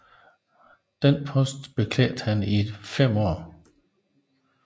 Denne post beklædte han i fem år